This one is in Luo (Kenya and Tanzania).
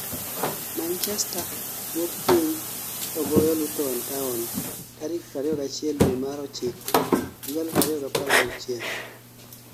Manchester wuok piny to goyo Luton Town tarik 21 due mar Ochiko 2016